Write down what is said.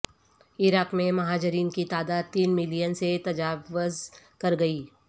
عراق میں مہاجرین کی تعداد تین میلین سے تجاوز کر گئی